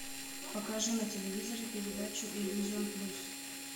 покажи на телевизоре передачу иллюзион плюс